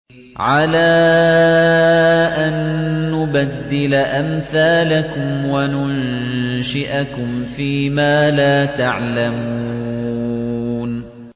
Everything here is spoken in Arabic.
عَلَىٰ أَن نُّبَدِّلَ أَمْثَالَكُمْ وَنُنشِئَكُمْ فِي مَا لَا تَعْلَمُونَ